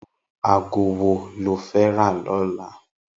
Irú àgó wó ló fè rà lòlá?